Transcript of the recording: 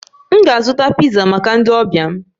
M ga-azụta piza maka ndi ọbia m